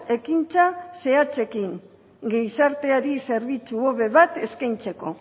ekintza zehatzekin gizarteari zerbitzu hobe bat eskaintzeko